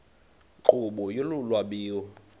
nkqubo yolu lwabiwo